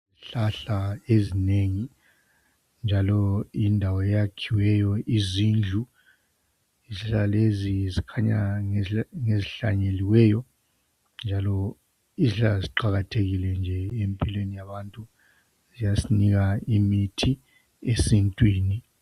Yindawo elezihlahla ezinengi njalo yindawo eyakhiweyo izindlu. Izihlahla lezi zikhanya ngezihlanyeliweyo njalo izihlahla ziqakathekile nje empilweni yabantu. Ziyasinika imithi esintwini.